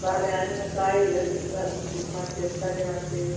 ಬಾಳೆ ಹಣ್ಣು, ಕಾಯಿ ಅದುನ್ನು ತಂದು ಇದ್ ಮಾಡ್ತೀವಿ, ಪಲ್ಯ ಮಾಡ್ತೀವಿ.